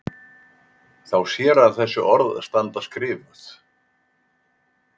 Þá sér hann þessi orð standa skrifuð